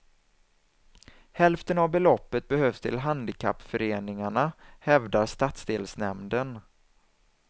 Hälften av beloppet behövs till handikappföreningarna, hävdar stadsdelsnämnden.